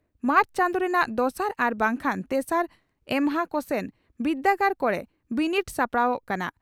ᱢᱟᱨᱪ ᱪᱟᱱᱫᱚ ᱨᱮᱱᱟᱜ ᱫᱚᱥᱟᱨ ᱟᱨ ᱵᱟᱝᱠᱷᱟᱱ ᱛᱮᱥᱟᱨ ᱮᱢᱦᱟ ᱠᱚᱥᱮᱱ ᱵᱤᱨᱫᱟᱹᱜᱟᱲ ᱠᱚᱨᱮ ᱵᱤᱱᱤᱰ ᱥᱟᱯᱲᱟᱣᱜ ᱠᱟᱱᱟ ᱾